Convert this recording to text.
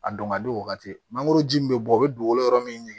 A dɔn ka di o wagati mangoro ji min bɛ bɔ o bɛ dugukolo yɔrɔ min